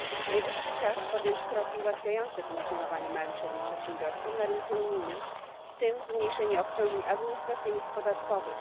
Najwyższy czas podjąć kroki ułatwiające funkcjonowanie małym i średnim przedsiębiorstwom na rynku unijnym, w tym zmniejszenie obciążeń administracyjnych i podatkowych.